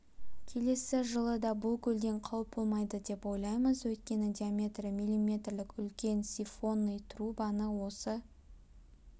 келесі жылы да бұл көлден қауіп болмайды деп ойлаймыз өйткені диаметрі миллиметрлік үлкен сифонный трубаны осы